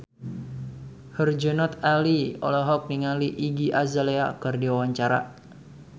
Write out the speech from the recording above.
Herjunot Ali olohok ningali Iggy Azalea keur diwawancara